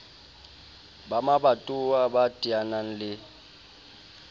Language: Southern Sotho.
ba mabatowa ba teanang le